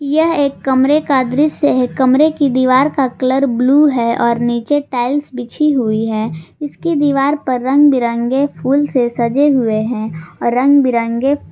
यह एक कमरे का दृश्य है कमरे की दीवार का कलर ब्लू है और नीचे टाइल्स बिछी हुई है इसकी दीवार पर रंग बिरंगे फूल से सजे हुए हैं और रंग बिरंगे--